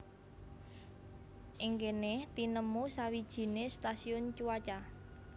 Ing kéné tinemu sawijiné stasiun cuaca